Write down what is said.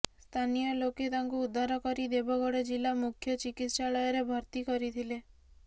ସ୍ଥାନୀୟ ଲୋକେ ତାଙ୍କୁ ଉଦ୍ଧାର କରି ଦେବଗଡ ଜିଲା ମୁଖ୍ୟ ଚିକିତ୍ସାଳୟରେ ଭର୍ତ୍ତି କରିଥିଲେ